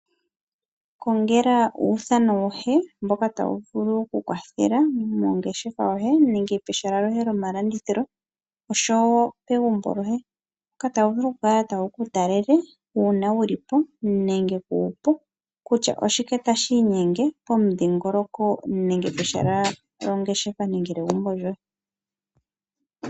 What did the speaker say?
Ikongela uuthano wohe mboka tawu vulu oku ku kwathela mongeshefa yoye nenge pehala loye lomalandithilo, oshowo pegumbo lyoye. Mboka ta wu vulu wuku talele uuna wu lipo nenge kuupo, kutya oshike tashi inyenge pomudhingoloko nenge pehala lyongeshefa nenge lyegumbo lyoye.